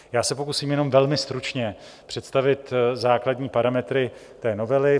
Já se pokusím jenom velmi stručně představit základní parametry té novely.